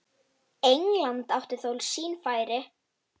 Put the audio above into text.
England átti þó sín færi.